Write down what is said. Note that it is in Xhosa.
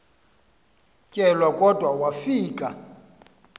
kelwa kodwa wafika